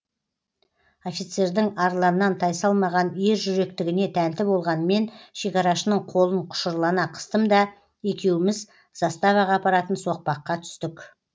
офицердің арланнан тайсалмаған ержүректігіне тәнті болған мен шекарашының қолын құшырлана қыстым да екеуміз заставаға апаратын соқпаққа түстік